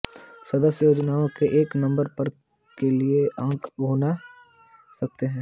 सदस्य योजनाओं के एक नंबर पर के लिए अंक भुना सकते हैं